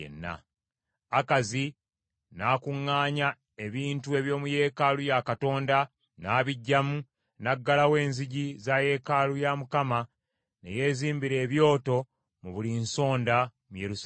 Akazi n’akuŋŋaanya ebintu eby’omu yeekaalu ya Katonda, n’abiggyamu, n’aggalawo enzigi za yeekaalu ya Mukama , ne yeezimbira ebyoto mu buli nsonda mu Yerusaalemi.